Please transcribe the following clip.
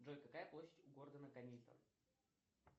джой какая площадь у города гамильтон